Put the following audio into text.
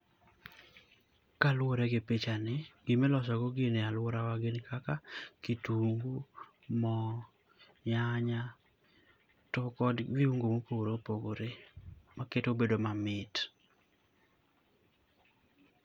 Ka luore gi picha ni gima iloso go gi ni e alwuora wa gin kaka kitungu, moo, nyanya to kod viungo ma opogore opogore ma kete obedo ma mit.